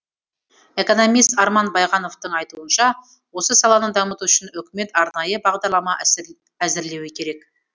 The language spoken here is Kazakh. экономист арман байғановтың айтуынша осы саланы дамыту үшін үкімет арнайы бағдарлама әзірлеуі керек